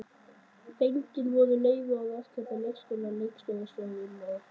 Fengin voru leyfi hjá rekstraraðila leikskólanna, leikskólastjórum og foreldrum barnanna.